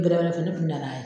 O de b'a to ne kun nana yan